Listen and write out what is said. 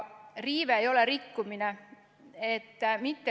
Riive ei ole rikkumine.